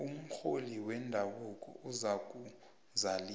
umrholi wendabuko uzakuzalisa